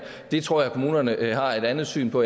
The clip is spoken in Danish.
tror jeg kommunerne har et andet syn på